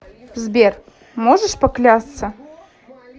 сбер можешь поклясться